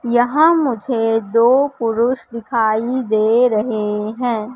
यहां मुझे दो पुरुष दिखाई दे रहे हैं।